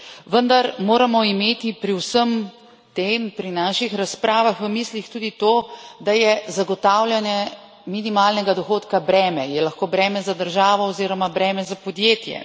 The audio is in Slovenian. Vendar moramo imeti pri vsem tem pri naših razpravah v mislih tudi to, da je zagotavljanje minimalnega dohodka breme, je lahko breme za državo oziroma breme za podjetje.